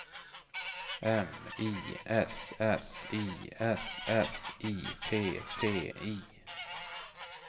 M I S S I S S I P P I